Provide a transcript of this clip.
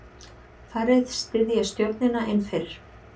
Færri styðja stjórnina en fyrr